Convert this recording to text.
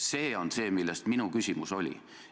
See on see, mille kohta minu küsimus oli.